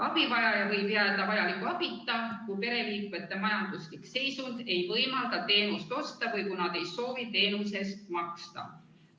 Abivajaja võib jääda vajaliku abita, kui pereliikmete majanduslik seisund ei võimalda teenust osta või kui nad ei soovi teenuse eest maksta.